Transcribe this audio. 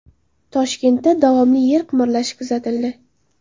Toshkentda davomli yer qimirlashi kuzatildi.